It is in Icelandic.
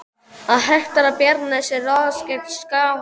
Að hertaka Bjarnanes er að ráðast gegn Skálholti.